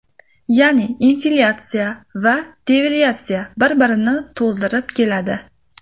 Ya’ni, inflyatsiya va devalvatsiya bir-birini to‘ldirib keladi.